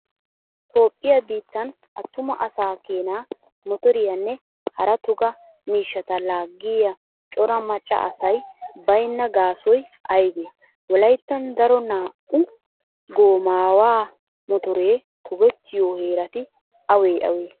Toophphiyaa biittan attuma asaa keena motoriyaanne hara toga miishshata laaggiya cora macca asay baynna gaasoy aybee? Wolayttan daro naa'u goomaawa motoree togettiyo heerati awee awee?